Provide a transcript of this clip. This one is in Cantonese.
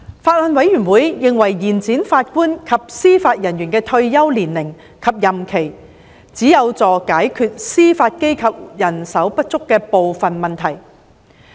法案委員會認為延展法官及司法人員的退休年齡及任期，只有助解決司法機構人手不足的部分問題。